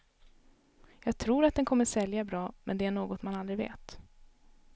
Jag tror att den kommer att sälja bra, men det är något man aldrig vet.